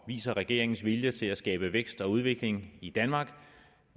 og viser regeringens vilje til at skabe vækst og udvikling i danmark